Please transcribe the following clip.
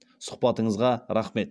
сұхбатыңызға рахмет